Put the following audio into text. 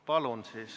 Palun!